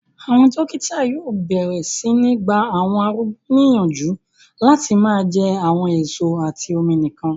Àwọn dókítà yóò bẹ̀rẹ̀ sí ní gba àwọn arúgbó ní yànjú láti máa jẹ àwọn èso àti omi nìkan